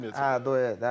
Adını deməyək.